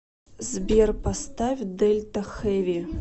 сбер поставь дельта хэви